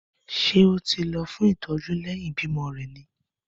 Ṣé ó ti lọ fún ìtọ́jú lẹ́yìn ìbímọ rẹ̀ ni?